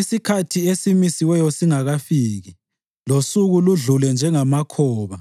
isikhathi esimisiweyo singakafiki losuku ludlule njengamakhoba,